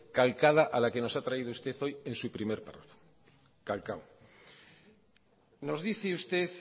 calcada a la que nos ha traído usted hoy en su primer párrafo calcado nos dice usted